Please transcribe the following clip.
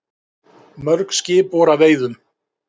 Mörg skip voru að veiðum.